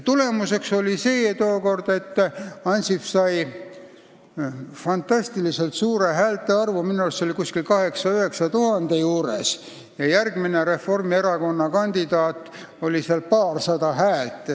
Tookord oli tulemuseks see, et Ansip sai fantastiliselt suure häältearvu, see oli 8000 või 9000 juures, ja järgmine Reformierakonna kandidaat sai paarsada häält.